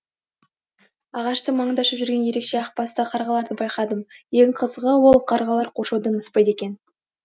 ағаштың маңында ұшып жүрген ерекше ақ басты қарғаларды байқадым ең қызығы ол қарғалар қоршаудан аспайды екен